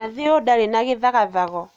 Nathi ũyũ ndarĩ na gĩthagathago